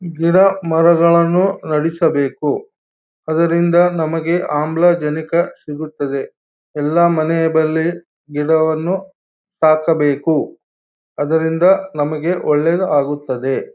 ಗಿಡ ಮರಗಳನ್ನು ನೆಡಿಸಬೇಕು ಅದರಿಂದ ನಮಗೆ ಆಮ್ಲ ಜನಕ ಸಿಗುತ್ತದೆ ಎಲ್ಲ ಮನೆಯದಲ್ಲಿ ಗಿಡವನ್ನುಸಾಕಬೇಕು ಅದರಿಂದ ನಮಗೆ ಒಳ್ಳೆಯದು ಆಗುತ್ತದೆ.